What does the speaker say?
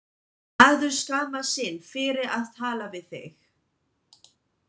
Maður skammast sín fyrir að tala við þig.